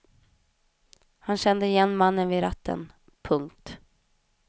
Han kände igen mannen vid ratten. punkt